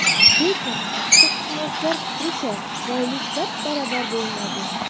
Lekin huquqshunoslar fikricha, boylik bab-baravar bo‘linadi.